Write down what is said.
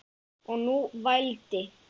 Kyssi bara.